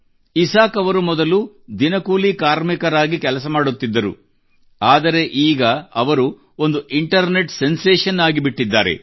Isaac ಅವರು ಮೊದಲು ದಿನಕೂಲಿ ಕಾರ್ಮಿಕನಾಗಿ ಕೆಲಸ ಮಾಡುತ್ತಿದ್ದರು ಆದರೆ ಅವರು ಈಗ ಒಂದು ಇಂಟರ್ನೆಟ್ ಸೆನ್ಸೇಷನ್ ಆಗಿಬಿಟ್ಟಿದ್ದಾರೆ